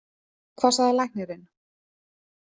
Hvað sagði læknirinn?